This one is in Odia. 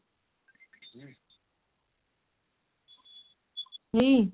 ହୁଁ